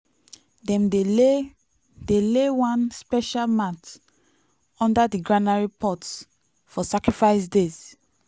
dem dey lay dey lay one special mat under di granary pot for sacrifice days.